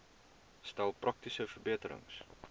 stel praktiese verbeterings